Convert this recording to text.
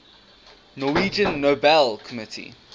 norwegian nobel committee